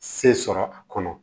Se sɔrɔ a kɔnɔ